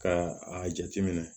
Ka a jate minɛ